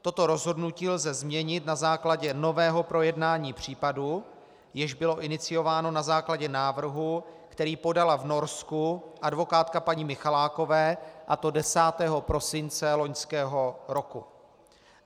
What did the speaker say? Toto rozhodnutí lze změnit na základě nového projednání případu, jež bylo iniciováno na základě návrhu, který podala v Norsku advokátka paní Michalákové, a to 10. prosince loňského roku.